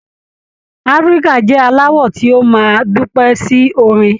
Áfíríkà jẹ alawọ ti o máa dúpẹ sí orin